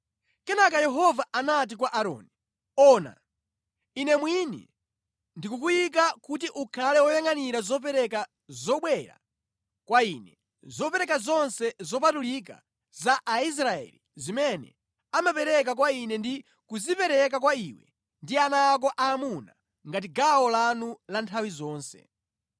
“Kenaka Yehova anati kwa Aaroni, ona, Ine mwini ndikukuyika kuti ukhale woyangʼanira zopereka zobwera kwa Ine; zopereka zonse zopatulika za Aisraeli zimene amapereka kwa ine ndi kuzipereka kwa iwe ndi ana ako aamuna ngati gawo lanu la nthawi zonse.